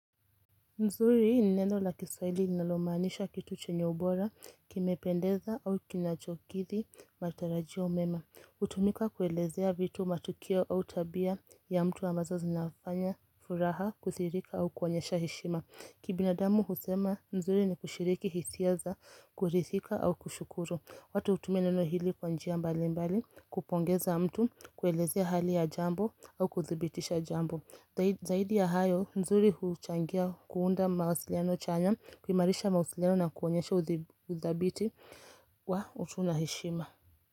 Nzuri ni neno la kiswahili linalomaanisha kitu chenye ubora, kimependeza au kinachokithi matarajia mema. Hutumika kuelezea vitu matukio au tabia ya mtu ambazo zinafanya, furaha, kuthihirika au kuonyesha heshima. Kibinadamu husema, nzuri ni kushiriki hisia za, kurithika au kushukuru. Watu hutumia neno hili kwanjia mbali mbali, kupongeza mtu, kuelezea hali ya jambo au kuthibitisha jambo. Zaidi ya hayo, nzuri huchangia kuunda mawasiliano chanya kuimarisha mawasiliano na kuonyesha uthabiti wa utu na heshima.